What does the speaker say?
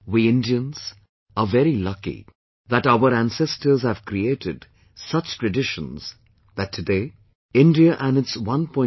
We, Indians, are very lucky that our ancestors have created such a tradition that today India and its 1